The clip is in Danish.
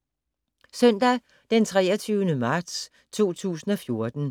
Søndag d. 23. marts 2014